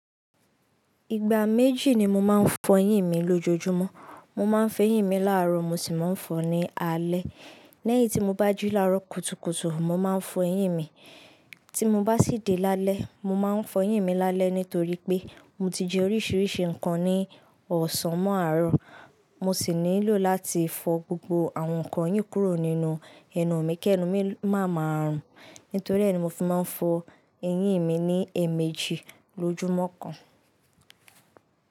Ìgbà méjì ni mo máa ń fọ eyín mi lójoojúmọ́. Mo máa ń f'eyín mi láàárọ̀ mo sì máa ń fọ̀ọ́ ní alẹ́. Lẹ́yìn tí mo bá jí láàárọ̀ kùtùkùtù, mo máa ń fọ eyín mi. Tí mo bá sì dé lálẹ́, mo máa ń fọ eyín mi lálẹ́ nítorí pé mo ti jẹ oríṣìíríṣìí nǹkan ní ọ̀sán mọ́ àárọ̀. Mo sì nílò láti fọ gbogbo àwọn nǹkan yìí kúrò nínú ẹnu mi kí ẹnu mi má máa rùn. Nítorí ẹ̀ ni mo fi máa ń fọ eyín mi ní ẹ̀ẹ̀mejì lójúmọ́ kan.